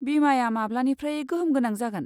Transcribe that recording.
बीमाया माब्लानिफ्राय गोहोम गोनां जागोन?